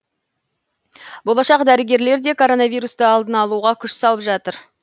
болашақ дәрігерлер де коронавирусті алдын алуға күш салып жатыр